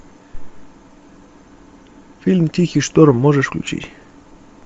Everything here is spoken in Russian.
фильм тихий шторм можешь включить